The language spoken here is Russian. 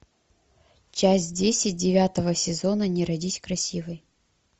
часть десять девятого сезона не родись красивой